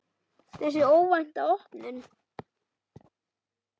Þessi óvænta opnun